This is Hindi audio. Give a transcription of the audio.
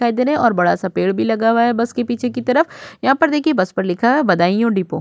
दिखाई दे रहे हैं और बड़ा सा पेड़ भी लगा है बस के पीछे की तरफ। यहाँ पर देखिए बस पर लिखा है बदायूं डिपो ।